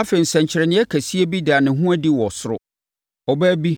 Afei, nsɛnkyerɛnneɛ kɛseɛ bi daa ne ho adi wɔ ɔsoro. Ɔbaa bi,